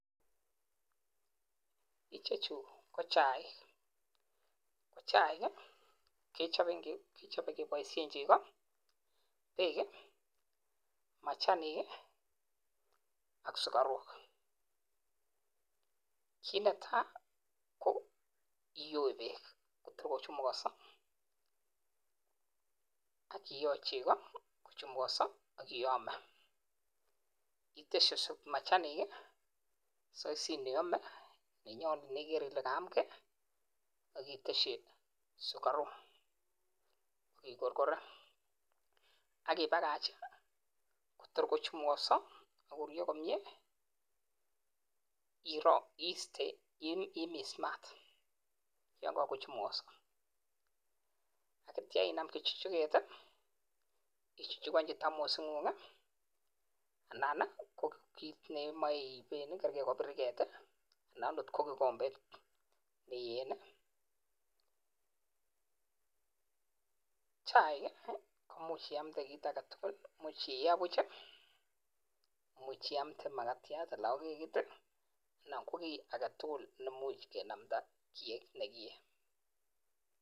Chuu kochaik kichop kebaishen chego Beek machanik AK sukaruk kii Netai kiyoee peeek Kotor kochumuganso iteschi machanik koyam komnyee akiteschii sukaruuk AK ikorkoren AK.imis Matt ya kakochumuganso akichukchukgan kopa kiit neiyeen ,chaiik komuchi iamnde kii agetugul